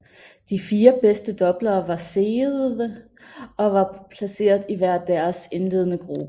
De fire bedst doubler var seedede og var placeret i hver deres indledende gruppe